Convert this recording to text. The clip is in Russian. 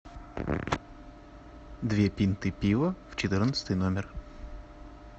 две пинты пива в четырнадцатый номер